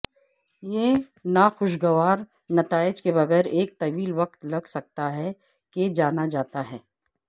یہ ناخوشگوار نتائج کے بغیر ایک طویل وقت لگ سکتا ہے کہ جانا جاتا ہے